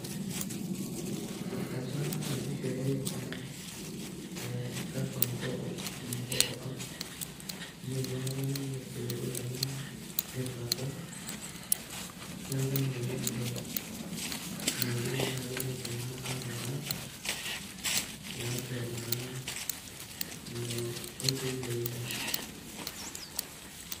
eitu aikata aasishore eeh eeh gava mko mkopo app, amu eitu aikata aning irkiliku lenyenak neitu adol, neeku mayiolo mayiolo naai enaidim ina app ataasa tiatua naa ilo oitoi le internet.